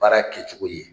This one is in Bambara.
Baara kɛcogo ye